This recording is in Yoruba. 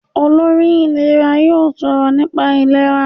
Olórí ìlera yóò sọ̀rọ̀ nípa ìlera.